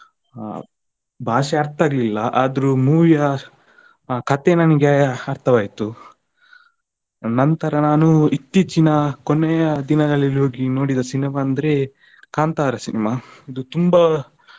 ಅಹ್ ಭಾಷೇ ಅರ್ಥ ಆಗ್ಲಿಲ್ಲ ಆದ್ರೂ movie ಯಾ ಕಥೆ ನನ್ಗೆ ಅರ್ಥವಾಯ್ತು. ನಂತರ ನಾನು ಇತ್ತೀಚಿನ ಕೊನೆಯ ದಿನದಲ್ಲಿ ಹೋಗಿ ನೋಡಿದ cinema ಅಂದ್ರೆ ಕಾಂತಾರಾ cinema ಇದು ತುಂಬಾ.